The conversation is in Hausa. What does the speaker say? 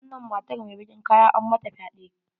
Wannan matar mai bakin kaya an mata fyaɗe.